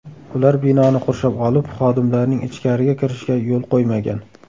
Ular binoni qurshab olib, xodimlarning ichkariga kirishiga yo‘l qo‘ymagan.